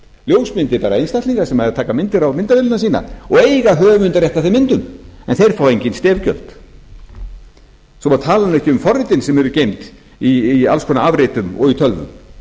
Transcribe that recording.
ljósmyndir bara einstaklinga sem eru að taka myndir á myndavélina sína og eiga höfundarrétt að þeim myndum en þeir fá engin stef gjöld svo að maður tali nú ekki um forritin sem eru geymd í alls konar afritum og í tölvum